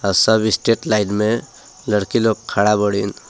सब straight line में लड़की लोग खड़ा बाड़ीन।